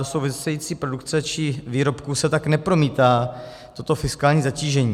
Do související produkce či výrobků se tak nepromítá toto fiskální zatížení.